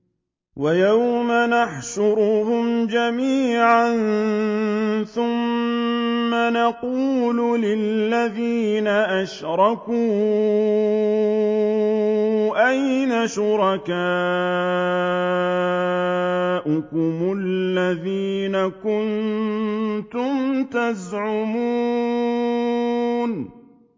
وَيَوْمَ نَحْشُرُهُمْ جَمِيعًا ثُمَّ نَقُولُ لِلَّذِينَ أَشْرَكُوا أَيْنَ شُرَكَاؤُكُمُ الَّذِينَ كُنتُمْ تَزْعُمُونَ